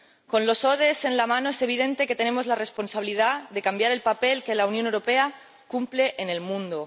Con los ODS en la mano es evidente que tenemos la responsabilidad de cambiar el papel que la Unión Europea cumple en el mundo.